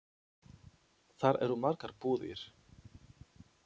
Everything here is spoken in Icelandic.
Þar eru margar búðir.